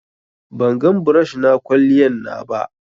bangan brush na kwaliyan na ba